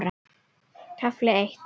KAFLI EITT